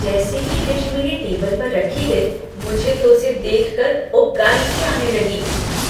जैसे ही डिश मेरी टेबल पर रखी गई, मुझे तो उसे देख कर उबकाई सी आने लगी।